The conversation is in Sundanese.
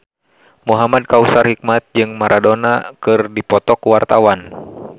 Muhamad Kautsar Hikmat jeung Maradona keur dipoto ku wartawan